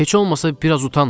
Heç olmasa biraz utanın.